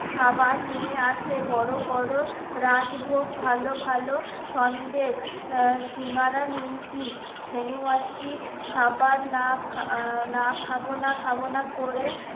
খাবার নিয়ে আসে বড়ো বড়ো রাজভোগ ভালো ভালো সন্দেশ আহ সিঙ্গারা নিমকি ছেনু মাসি খাবার না না খাব না খাব না করে